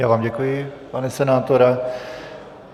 Já vám děkuji, pane senátore.